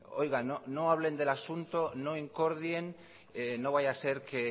oigan no hablen del asunto no incordien no vaya a ser que